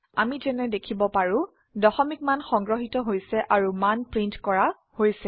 আমি যেনে দেখিব পাৰো দশমিক মান সংগ্ৰহিত হৈছে আৰু মান প্ৰিন্ট কৰা হৈছে